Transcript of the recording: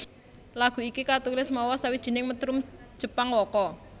Lagu iki katulis mawa sawijining metrum Jepang waka